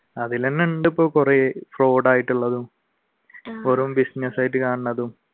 അതില്തന്നെയുണ്ട് ഇപ്പ കുറെ fraud ആയിട്ടുള്ളതും business ആയിട്ട് കാണുന്നതും